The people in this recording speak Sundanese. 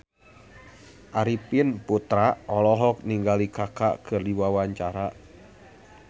Arifin Putra olohok ningali Kaka keur diwawancara